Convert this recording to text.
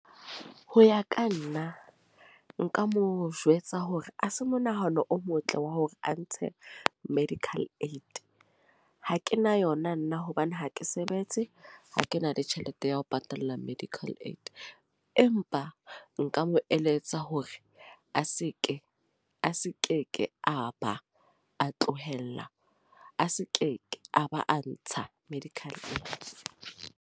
Ho ya ka nna. Nka mo jwetsa hore ha se monahano o motle wa hore a ntshe medical aid. Ha ke na yona nna hobane ha ke sebetse. Ha ke na le tjhelete ya ho patalla medical aid. Empa nka mo eletsa hore a seke, a seke ke a ba a tlohella. A seke a ba a ntsha medical .